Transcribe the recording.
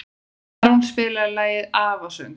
Tarón, spilaðu lagið „Afasöngur“.